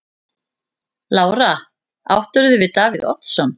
Lára: Áttirðu við Davíð Oddsson?